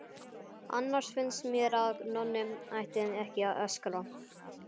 Annars finnst mér að Nonni ætti ekki að öskra.